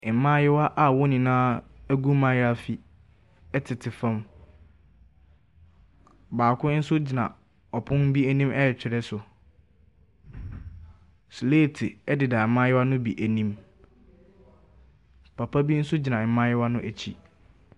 Mmaayewa a wɔn nyinaa agu mayaafi ɛtete fam. Baako nso gyina ɔpono bi anim retwerɛ so. Slaate ɛdeda mmayewa no bi anim. Papa bi nso gyina mmaayewa no akyi.